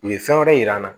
U ye fɛn wɛrɛ yira an na